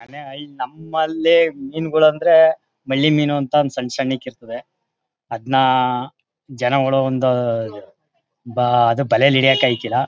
ನಮ್ಮಲ್ಲಿ ಮೀನುಗಳಂದ್ರೆ ಮಲ್ಲಿ ಮೀನು ಅಂತ ಸನ್ ಸನ್ ಕೆ ಇರುತೆ ಅಧ್ನಾ ಜನ ಓಡೋ ಒಂದು ಬ ಅದು ಬಲೆಯಲ್ಲಿ ಹಿಡಿಯಕೆ ಆಯ್ತಾಯಿಲ್ಲ .